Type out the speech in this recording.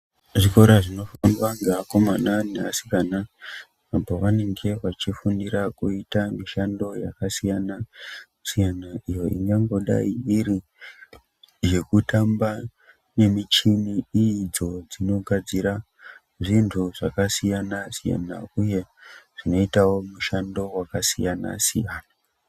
Zvikora zvinofundwa nevakoman nevasikana apo vanenge vachifundira kuita mishando yaksiyana-siyana, iyo ingangodai iri yekutamba nemichini idzo dzinogadzira zvakasiyana-siyana, uye zvinoitawo mishanddo yaksiyana-siyana.